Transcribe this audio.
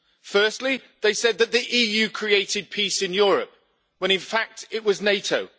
Firstly, they said that the EU created peace in Europe, when in fact it was NATO.